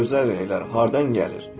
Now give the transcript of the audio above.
Bəs bu gözəl rənglər hardan gəlir?